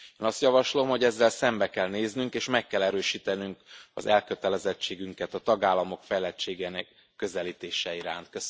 Én azt javaslom, hogy ezzel szembe kell néznünk és meg kell erősítenünk az elkötelezettségünket a tagállamok fejlettségének közelítése iránt.